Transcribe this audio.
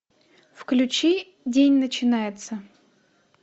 включи день начинается